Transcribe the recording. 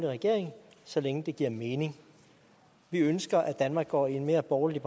regering så længe det giver mening vi ønsker at danmark går i en mere borgerlig